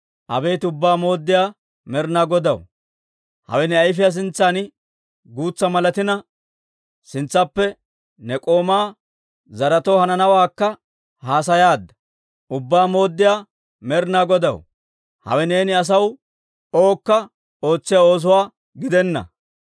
Abeet Ubbaa Mooddiyaa Med'inaa Godaw, hawe ne ayfiyaa sintsan guutsa malatina, sintsappe ne k'oomaa zaretoo hananawaakka haasayaadda. Ubbaa Mooddiyaa Med'inaa Godaw, hawe neeni asaw owukka ootsiyaa oosuwaa gidenna.